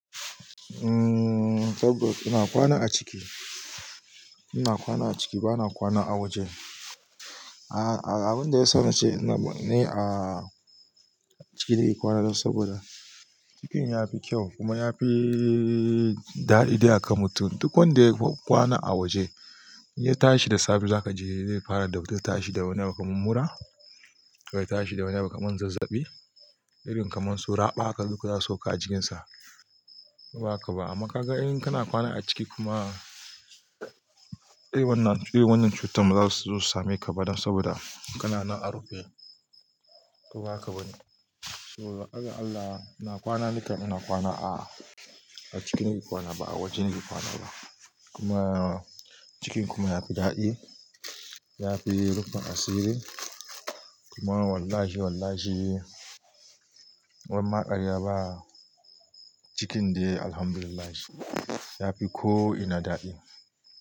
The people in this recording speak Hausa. Umm, tabbas ina kwana a ciki. Ina kwana a ciki bana kwana a waje. A'a abin da ya sa ni ce na, ni a ciki nayi kwana dan saboda cikin yafi kyau kuma yafi dadi daya kamata. Duk wanda ya kwana a waje in ya tashi da safe zaka ji zai fara da wata tashi da wani abu kaman mura, wai tashi da wani abu kaman zazzabi, irin kaman su raɓaka duk zasu sauka a jikinsa. Ko ba haka ba amma kaga in kana kwana a ciki kuma, eh wannan cutar bazasu same ka ba dan saboda kana nan a rufe. Ko ba haka bane. So har Allah ina kwana nika ina kwana a, a cikin nake kwana ba a waje nayi kwana ba. Kuma cikin kuma yafi dadi yafi rufe asiri kuma wallahi wallahi, baran ma karya ba cikin dai Alhamdulillah yafi ko ina dadi.